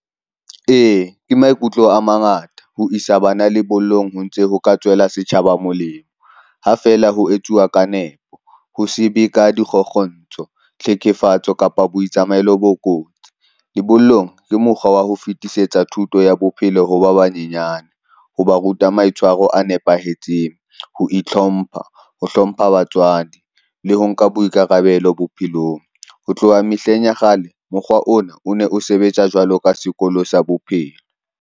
E, ke maikutlo a mangata ho isa bana lebollong, ho ntse ho ka tswela setjhaba molemo ha feela ho etsuwa ka nepo, ho se be ka dikgokgontsho, tlhekefatso kapa bo itsamaelo bo kotsi. Lebollong ke mokgwa wa ho fetisetsa thuto ya bophelo ho ba banyenyane ho ba ruta maitshwaro a nepahetseng, ho itlhompha, ho hlompha batswadi le ho nka boikarabelo bophelong. Ho tloha mehleng ya kgale, mokgwa ona o ne o sebetsa jwalo ka sekolo sa bophelo.